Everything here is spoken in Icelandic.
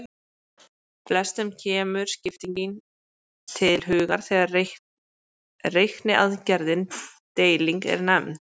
Flestum kemur skipting til hugar þegar reikniaðgerðin deiling er nefnd.